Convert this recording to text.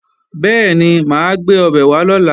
Bẹ́ẹ̀ni, mà á gbé ọbẹ̀ wá lọ̀la